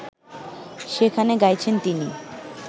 সেখানে গাইছেন তিনি